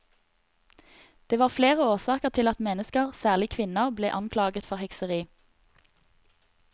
Det var flere årsaker til at mennesker, særlig kvinner, ble anklaget for hekseri.